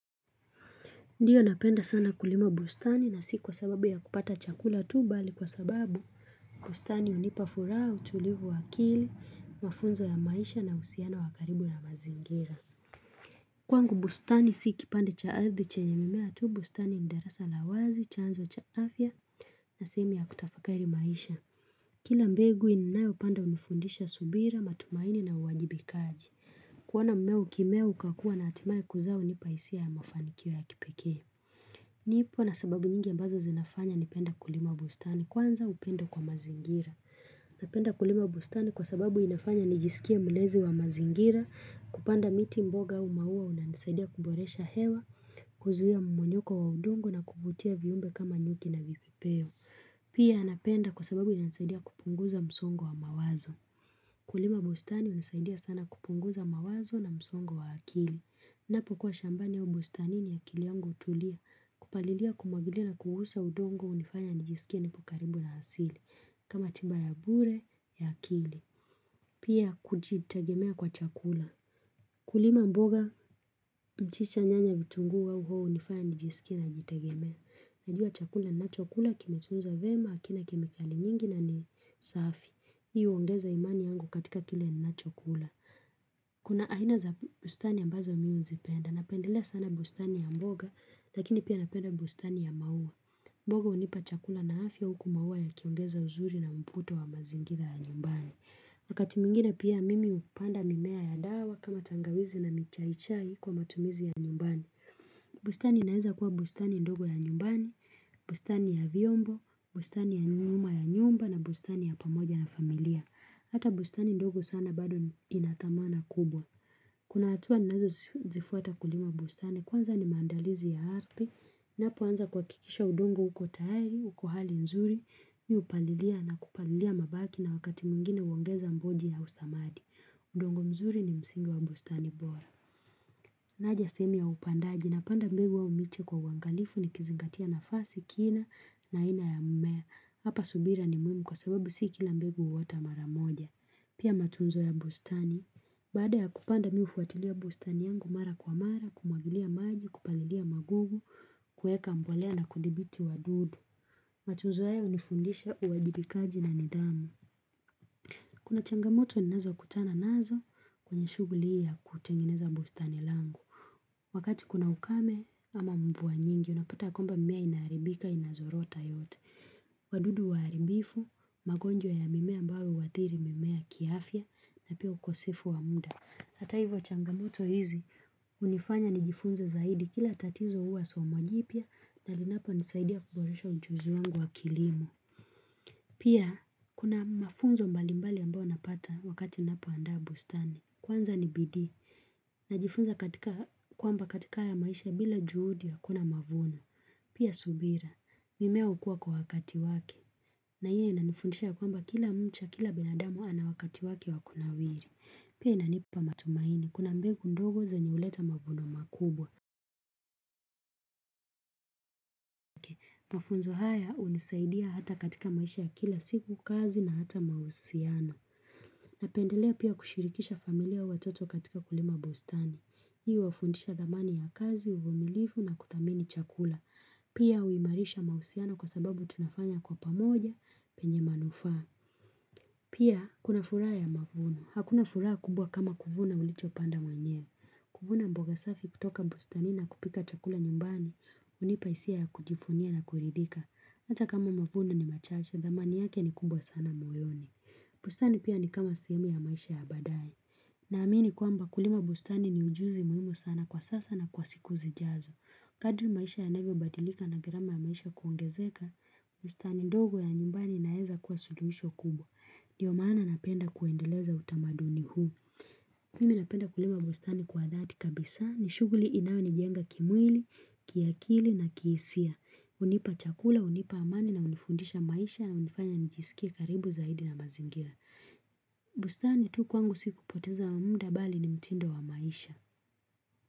Ndiyo napenda sana kulima bustani na si kwa sababu ya kupata chakula tu bali kwa sababu bustani hunipafuraha, utulivu wa akili, mafunzo ya maisha na usiano wakaribu ya mazingira. Kwangu bustani si kipande chaadhi chenyemimea tu bustani darasa lawazi, chanzo cha afya na sehemu ya kutafakari maisha. Kila mbegu inayo panda unifundisha subira, matumaini na uwajibikaji. Kuona mmea ukimea ukakua na hatimai kuzaa hunipahisia ya mafanikio ya kipekee. Nipo na sababu nyingi ambazo zinafanya nipenda kulima bustani kwanza upendo kwa mazingira. Napenda kulima bustani kwa sababu inafanya nijisikia mlezi wa mazingira, kupanda miti mboga au maua unanisaidia kuboresha hewa, huzuia mmonyoko wa udongo na kuvutia viumbe kama nyuki na vipipeo. Pia napenda kwa sababu inanisaidia kupunguza msongo wa mawazo. Kulima bustani unisaidia sana kupunguza mawazo na msongo wa akili. Ninapo kwa shambani au bustani ni akili yangu utulia. Kupalilia kumwagilia na kugusa udongo unifanya nijisikia ni pokaribu na asili. Kama timba ya bure ya akili. Pia kujitegemea kwa chakula. Kulima mboga mchicha nyanya vitunguu au hoho unifanya nijisikia na nijitegemea. Najua chakula nina chokula kime tunzwa vyema akina kime kali nyingi na ni safi Hii uongeza imani yangu katika kile nina chokula Kuna aina za bustani ambazo mimi uzipenda Napendelea sana bustani ya mboga lakini pia napenda bustani ya maua mboga unipa chakula na afya huku maua yakiongeza uzuri na mvuto wa mazingira ya nyumbani wakati mwingine pia mimi upanda mimea ya dawa kama tangawizi na michaichai kwa matumizi ya nyumbani bustani inaeza kuwa bustani ndogo ya nyumbani, bustani ya vyombo, bustani ya nyuma ya nyumba na bustani ya pamoja na familia Hata bustani ndogo sana bado inathamana kubwa Kuna hatua ninazo zifuata kulima bustani kwanza ni maandalizi ya arthi Napo anza kwa kuhakikisha udongo uko tayari, uko hali nzuri, mi upalilia na kupalilia mabaki na wakati mwingine uongeza mboji au samadi udongo mzuri ni msingi wa bustani bora Naja sehemu ya upandaji na panda mbegu au miche kwa uangalifu ni kizingatia na fasi kina na ina ya mmea. Hapa subira ni mwimu kwa sababu si kila mbegu uota maramoja. Pia matunzo ya bustani. Baada ya kupanda mi hufuatilia bustani yangu mara kwa mara, kumwagilia maji, kupalilia magugu, kueka mbolea na kudhibiti wadudu. Matunza haya unifundisha uwajibikaji na nidhamu. Kuna changamoto ni nazo kutana nazo kwenye shughuli hii ya kutengeneza bustani langu. Wakati kuna ukame ama mvua nyingi unapata ya kwamba mimea inaharibika inazorota yote. Wadudu waharibifu, magonjwa ya mimea ambayo huathiri mimea kiafya na pia ukosefu wa muda. Hata hivyo changamoto hizi unifanya ni jifunze zaidi kila tatizo huwa somo jipia na linapo nisaidia kuboresha ujuzi wangu wa kilimo. Pia kuna mafunzo mbalimbali ambao napata wakati napo andaa bustani. Kwanza ni bidii. Najifunza katika kwamba katika haya maisha bila juhudi akuna mavuno. Pia subira. Mimea hukua kwa wakati wake. Na hiyo inanifundisha kwamba kila mcha kila binadamu ana wakati wake wakuna wiri. Pia inanipa matumaini. Kuna mbegu ndogo zenye huleta mavuno makubwa. Mafunzo haya unisaidia hata katika maisha ya kila siku kazi na hata mahusiano. Napendelea pia kushirikisha familia watoto katika kulima bustani. Hii uwafundisha dhamani ya kazi, uvumilifu na kuthamini chakula. Pia uimarisha mahusiano kwa sababu tunafanya kwa pamoja penye manufaa. Pia kuna furaha ya mavuno. Hakuna furaha kubwa kama kuvuna ulicho panda mwenyewe. Kuvuna mboga safi kutoka bustanini na kupika chakula nyumbani unipahisia ya kujifunia na kuridhika. Hata kama mavuno ni machache, dhamani yake ni kubwa sana moyoni. Bustani pia ni kama sehemu ya maisha ya baadaye. Na amini kwamba kulima bustani ni ujuzi muhimu sana kwa sasa na kwa siku zijazo. Kadri maisha ya navyo badilika na gharama ya maisha kuongezeka, bustani ndogo ya nyumbani inaeza kwa suluhisho kubwa. Ndiyo maana napenda kuendeleza utamaduni huu. Mimi napenda kulima bustani kwa dhati kabisa ni shughuli inayoni jenga kimwili, kiakili na kihisia. Unipa chakula, unipa amani na unifundisha maisha na unifanya nijisikie karibu zaidi na mazingira bustani tu kwangu siku poteza wa muda bali ni mtindo wa maisha.